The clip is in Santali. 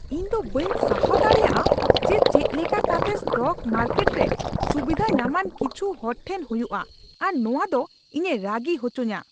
ᱤᱧᱫᱚ ᱵᱟᱹᱧ ᱥᱟᱦᱟᱣ ᱫᱟᱲᱮᱭᱟᱜᱼᱟ ᱡᱮ ᱪᱮᱫᱞᱮᱠᱟ ᱠᱟᱛᱮ ᱥᱴᱚᱠ ᱢᱟᱨᱠᱮᱴ ᱨᱮ ᱥᱩᱵᱤᱫᱷᱟ ᱧᱟᱢᱟᱱ ᱠᱤᱪᱷᱩ ᱦᱚᱲᱴᱷᱮᱱ ᱦᱩᱭᱩᱜᱼᱟ ᱟᱨ ᱱᱚᱶᱟ ᱫᱚ ᱤᱧᱮ ᱨᱟᱹᱜᱤ ᱦᱚᱪᱩᱧᱟ ᱾